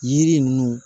Yiri ninnu